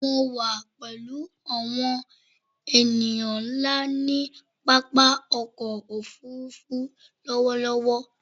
Mo wà pẹ̀lú àwọn ènìyàn ńlá ní pápákọ̀-òfurufú lọ́wọ́lọ́wọ́.